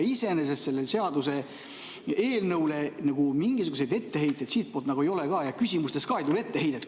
Iseenesest sellele seaduseelnõule mingisuguseid etteheiteid siitpoolt ei ole ja ka küsimustes ei tule etteheidet.